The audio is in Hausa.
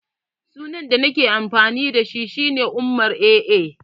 Sunan da nake amfani dashi shi ne Umar-AA